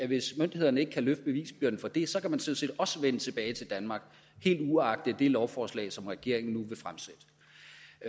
hvis myndighederne ikke kan løfte bevisbyrden for det sådan set også vende tilbage til danmark helt uagtet det lovforslag som regeringen nu